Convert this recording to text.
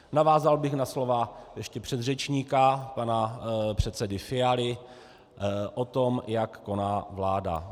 Navázal bych na slova ještě předřečníka, pana předsedy Fialy, o tom, jak koná vláda.